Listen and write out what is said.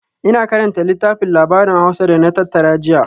Ina karanta littafin labarin Hausa da na tattara jiya